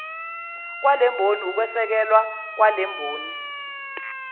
kwalemboni ukwesekelwa kwalemboni